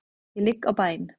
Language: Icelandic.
Ég ligg á bæn.